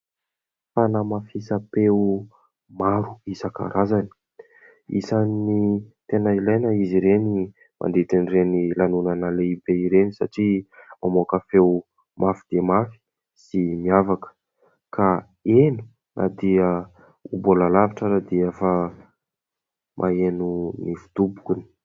Fanamafisam-peo maro isan-karazany. Isany tena ilaina izy ireny mandritran'ireny lanonana lehibe ireny satria mamoaka feo mafy dia mafy sy miavaka ka heno na dia mbola lavitra ary dia efa mahaino ny fidobokany.